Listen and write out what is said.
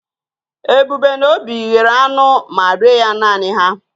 Ebube na Obi yere anu ma rie ya nani ha.